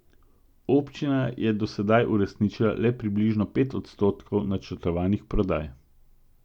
Občina je do sedaj uresničila le približno pet odstotkov načrtovanih prodaj.